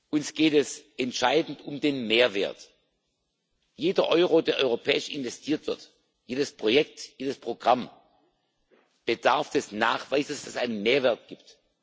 Uns geht es entscheidend um den Mehrwert. Jeder Euro, der europäisch investiert wird, jedes Projekt, jedes Programm bedarf des Nachweises, dass es einen Mehrwert gibt.